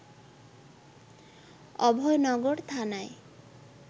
অভয়নগর থানায়